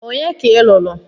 Onye ka ị lụrụ?